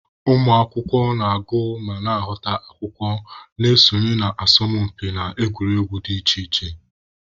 Ụmụ akwụkwọ na-agụ ma na-amụta akwụkwọ, na-esonye na asọmụpi na egwuregwu dị iche iche.